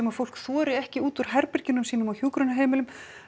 að fólk þori ekki út úr herbergjunum sínum á hjúkrunarheimilum